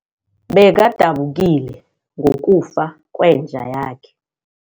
Bekadabukile ngokufa kwenja yakhe.